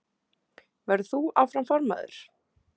Verður þú áfram formaður?